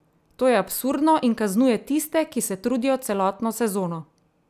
To je absurdno in kaznuje tiste, ki se trudijo celotno sezono!